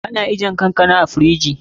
Ana ajiyar kankana a firiji ne.